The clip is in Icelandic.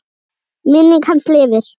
Minning hans lifir.